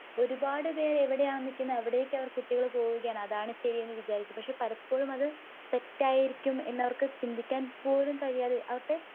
ഒരുപാടുപേര് എവിടായ നിക്കുന്നെ അവിടേക്കു അവർ കുട്ടികൾ പോവുകയാണ്. അതാണ് ശരിയെന്ന് വിചാരിച്ചു . പക്ഷേ പലപ്പോഴും അത് തെറ്റായിരിക്കും എന്നവർക്ക് ചിന്തിക്കാൻ പോലും കഴിയാതെ അവരുടെ